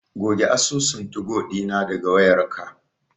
Goge asusun tugo ɗina daga wayarka.